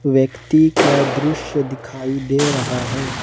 व्यक्ति का दृश्य दिखाई दे रहा है।